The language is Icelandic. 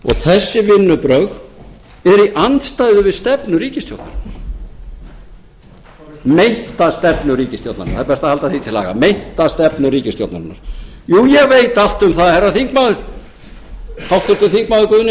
þessi vinnubrögð eru í andstæðu við stefnu ríkisstjórnarinnar meinta stefnu ríkisstjórnarinnar það er best að halda því til haga meinta stefnu ríkisstjórnarinnar jú ég veit allt um það háttvirtur þingmaður guðni